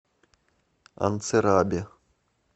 анцирабе